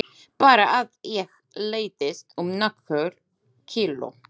Bara að ég léttist um nokkur kíló!